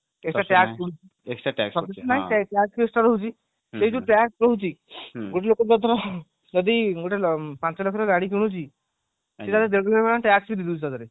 TAX ରହିଛି ସେଇ ଯୋଉ TAX ରହୁଛି ଗୋଟେ ଲୋକ ଧାର ଯଦି ପାଞ୍ଚ ଲକ୍ଷର ଗାଡି କିଣୁଛି TAX ବି ଦେଇଦଉଛି ସେଥିରେ